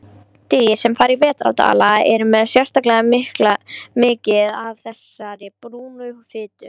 Dýr sem fara í vetrardvala eru með sérstaklega mikið af þessari brúnu fitu.